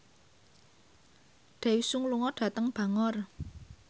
Daesung lunga dhateng Bangor